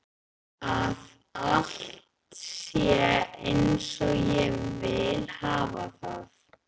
Að allt sé einsog ég vil hafa það.